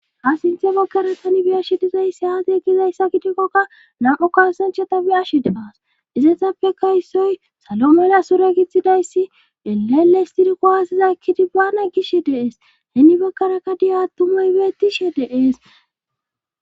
Ha sinthe bekkara tani biash dizayssi haat yegizayssa gidikkokka nam'o kasanchata biyashi demaas izetsapfe kaysoy salo mela sure gittxidayssi eleelestiriko haasiza ekkidi baana gishe deees heni bekkaraka diyattumoy beettishe deees.